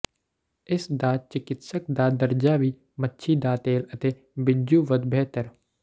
ਇਸ ਦਾ ਚਿਕਿਤਸਕ ਦਾ ਦਰਜਾ ਵੀ ਮੱਛੀ ਦਾ ਤੇਲ ਅਤੇ ਬਿੱਜੂ ਵੱਧ ਬਿਹਤਰ